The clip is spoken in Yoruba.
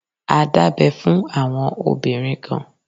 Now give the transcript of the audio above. A dábẹ fún àwọn obìnrin kan.